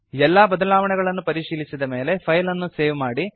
ಎಲ್ಲಾ ಬದಲಾವಣೆಗಳನ್ನು ಪರಿಶೀಲಿಸಿದ ಮೇಲೆ ಫೈಲ್ ಅನ್ನು ಸೇವ್ ಮಾಡಿ